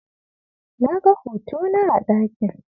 Naga hotona a ɗakin.